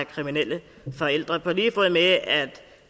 kriminelle forældre på lige fod med at